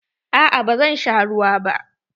Aa ba zan sha ruwa ba.